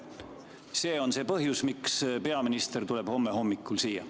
See on see põhjus, miks peaminister tuleb homme hommikul siia.